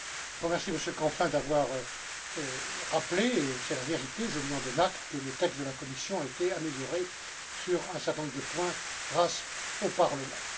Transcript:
Je remercie Monsieur Canfin d'avoir rappelé et c'est la vérité, je lui en donne acte que le texte de la Commission avait été amélioré sur un certain nombre de points grâce au Parlement.